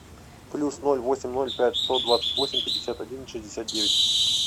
плюс ноль восемь ноль пять сто двадцать восемь пятьдесят один шестьдесят девять